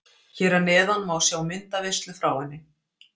Hér að neðan má sjá myndaveislu frá henni.